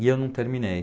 E eu não terminei.